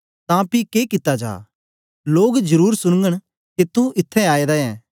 तां पी के कित्ता जा लोग जरुर सुनगन के तू इत्त्थैं आएदा ऐं